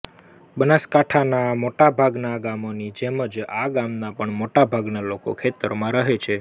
બનાસકાંઠાંના મોટાભાગનાં ગામોની જેમ જ આ ગામનાં પણ મોટાભાગના લોકો ખેતરમાં રહે છે